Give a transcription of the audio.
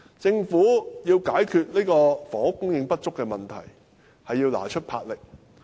政府想解決房屋供應不足的問題，是要拿出魄力的。